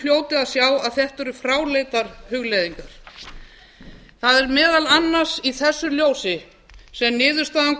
hljóti að sjá að þetta eru fráleitar hugleiðingar það er meðal annars í þessu ljósi sem niðurstaðan